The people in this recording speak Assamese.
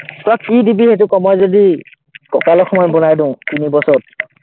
তই কি দিবি সেইটো ক, মই যদি ককালৰ সমান বনাই দিওঁ তিনি বছৰত?